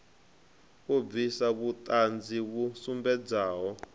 u bvisa vhuṱanzi vhu sumbedzaho